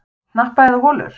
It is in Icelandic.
Hnappa eða holur?